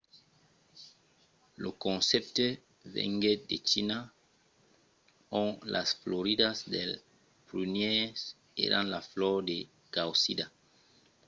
lo concèpte venguèt de china ont las floridas dels prunièrs èran la flor de causida